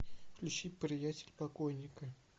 включи приятель покойника